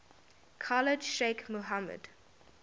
khalid sheikh mohammed